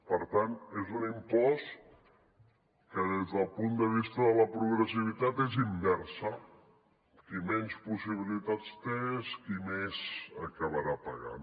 per tant és un impost que des del punt de vista de la progressivitat és inversa qui menys possibilitats té és qui més acabarà pagant